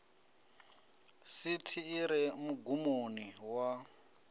sithi i re mugumoni wa